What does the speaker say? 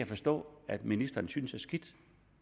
forstå at ministeren synes er skidt